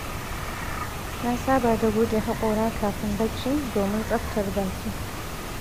Na saba da goge haƙora kafin bacci, domin tsaftar baki.